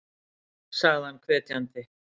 sagði hann hvetjandi.